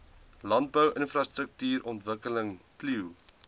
landbou infrastruktuurontwikkeling plio